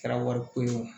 Kɛra wariko ye o